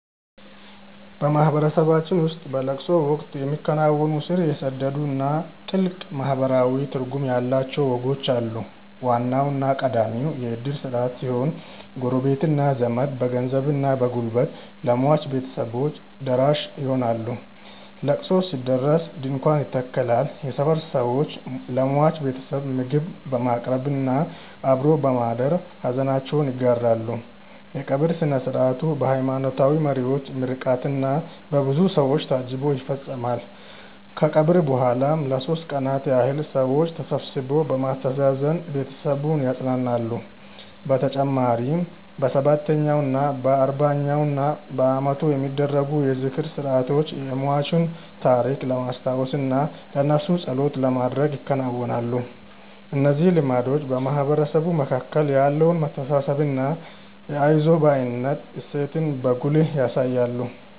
በማህበረሰባችን ውስጥ በለቅሶ ወቅት የሚከናወኑ ስር የሰደዱና ጥልቅ ማህበራዊ ትርጉም ያላቸው ወጎች አሉ። ዋናውና ቀዳሚው የእድር ስርዓት ሲሆን፣ ጎረቤትና ዘመድ በገንዘብና በጉልበት ለሟች ቤተሰቦች ደራሽ ይሆናሉ። ለቅሶ ሲደርስ ድንኳን ይተከላል፣ የሰፈር ሰዎችም ለሟች ቤተሰብ ምግብ በማቅረብና አብሮ በማደር ሐዘናቸውን ይጋራሉ። የቀብር ሥነ ሥርዓቱ በሃይማኖታዊ መሪዎች ምርቃትና በብዙ ሰው ታጅቦ ይፈጸማል። ከቀብር በኋላም ለሦስት ቀናት ያህል ሰዎች ተሰብስበው በማስተዛዘን ቤተሰቡን ያጸናናሉ። በተጨማሪም በሰባተኛው፣ በአርባኛውና በዓመቱ የሚደረጉ የዝክር ሥርዓቶች የሟችን ታሪክ ለማስታወስና ለነፍሱ ጸሎት ለማድረግ ይከናወናሉ። እነዚህ ልማዶች በማህበረሰቡ መካከል ያለውን መተሳሰብና የአይዞህ ባይነት እሴትን በጉልህ ያሳያሉ።